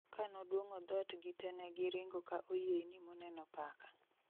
Kanoduong'o dhot gi te negi ringo ka oyieyni moneno paka